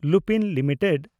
Lupin limited